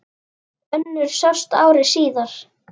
Önnur sást ári síðar.